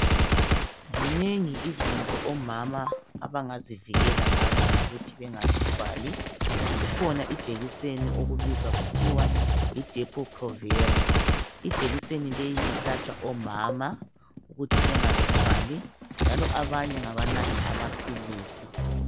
Zinengi izinto omama abangazivikela ngazo ukuthi bengazithwali. Kukhona ijekiseni okubizwa kuthiwa yi "DEPO PROVERA".Ijekiseni leyi ihlatshwa omama ukuthi bengazithwali njalo abanye ngabanatha amaphilisi.